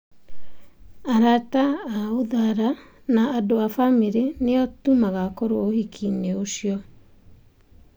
Arata a Uthara na andũ a bamĩrĩ nĩ o tu magakorwo ũhiki-inĩ ucio.